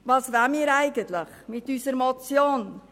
Was wollen wir mit unserer Motion eigentlich erreichen?